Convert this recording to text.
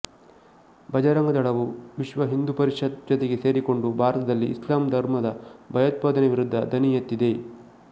ಭಜರಂಗದಳವು ವಿಶ್ವಹಿಂದೂ ಪರಿಷತ್ ಜತೆಗೆ ಸೇರಿಕೊಂಡು ಭಾರತದಲ್ಲಿ ಇಸ್ಲಾಂ ಧರ್ಮದ ಭಯೋತ್ಪಾದನೆ ವಿರುದ್ಧ ಧ್ವನಿ ಎತ್ತಿದೆ